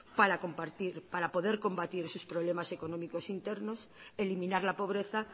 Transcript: para poder combatir esos problemas económicos internos eliminar la pobreza